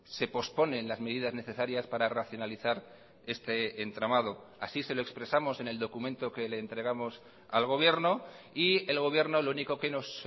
se posponen las medidas necesarias para racionalizar este entramado así se lo expresamos en el documento que le entregamos al gobierno y el gobierno lo único que nos